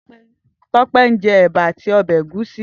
Tope n jè èbá àtí òbè égùsí